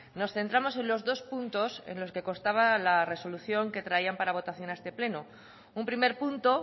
nos centramos en los dos puntos en los que constaba la resolución que traían para votación a este pleno un primer punto